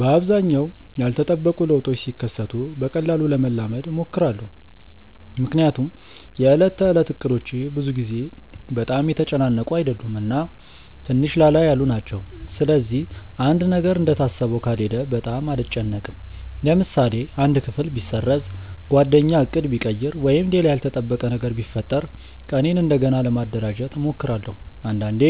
በአብዛኛው ያልተጠበቁ ለውጦች ሲከሰቱ በቀላሉ ለመላመድ እሞክራለሁ። ምክንያቱም የዕለት ተዕለት እቅዶቼ ብዙ ጊዜ በጣም የተጨናነቁ አይደሉም እና ትንሽ ላላ ያሉ ናቸው። ስለዚህ አንድ ነገር እንደታሰበው ካልሄደ በጣም አልጨነቅም። ለምሳሌ አንድ ክፍል ቢሰረዝ፣ ጓደኛ ዕቅድ ቢቀይር ወይም ሌላ ያልተጠበቀ ነገር ቢፈጠር ቀኔን እንደገና ለማደራጀት እሞክራለሁ። አንዳንዴ